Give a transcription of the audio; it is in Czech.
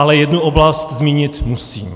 Ale jednu oblast zmínit musím.